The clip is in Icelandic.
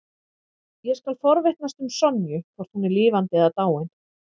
Ég skal forvitnast um Sonju, hvort hún er lifandi eða dáin.